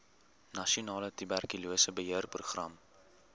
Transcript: nasionale tuberkulose beheerprogram